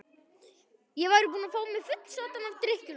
Ég væri búinn að fá mig fullsaddan af drykkjulátum.